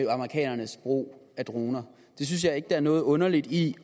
amerikanernes brug af droner det synes jeg ikke der er noget underligt i